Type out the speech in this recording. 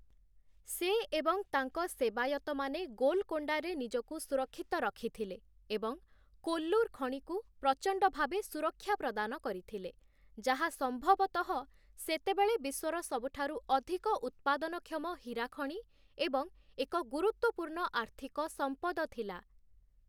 ସେ ଏବଂ ତାଙ୍କ ସେବାୟତମାନେ ଗୋଲକୋଣ୍ଡାରେ ନିଜକୁ ସୁରକ୍ଷିତ ରଖିଥିଲେ ଏବଂ କୋଲ୍ଲୁର ଖଣିକୁ ପ୍ରଚଣ୍ଡ ଭାବେ ସୁରକ୍ଷା ପ୍ରଦାନ କରିଥିଲେ, ଯାହା ସମ୍ଭବତଃ ସେତେବେଳେ ବିଶ୍ୱର ସବୁଠାରୁ ଅଧିକ ଉତ୍ପାଦନକ୍ଷମ ହୀରା ଖଣି ଏବଂ ଏକ ଗୁରୁତ୍ୱପୂର୍ଣ୍ଣ ଆର୍ଥିକ ସମ୍ପଦ ଥିଲା ।